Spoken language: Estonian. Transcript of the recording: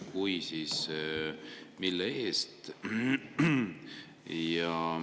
Kui on, siis mille eest?